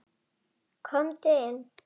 Komdu inn!